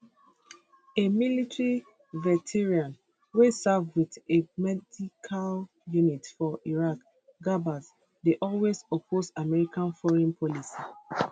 a military veteran wey serve wit a medical unit for iraq gabbard dey always oppose american foreign policy